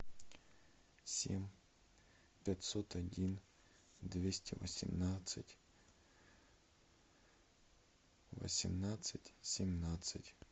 семь пятьсот один двести восемнадцать восемнадцать семнадцать